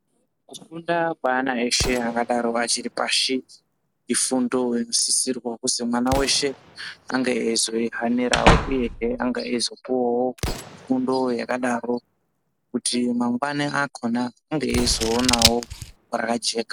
Kufunda kweana eshe angadaro achiri pashi, ifundo inosisirwa kuti mwana weshe ,ange eizoihanirawo, uyehe ange eizopuwawo fundo yakadaro kuti mangwani akhona ange eizoonawo rakajeka.